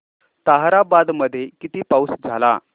ताहराबाद मध्ये किती पाऊस झाला